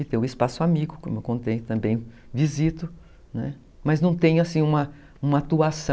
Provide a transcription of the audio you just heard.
E tem o espaço amigo, como eu contei, também visito, né, mas não tem uma uma atuação.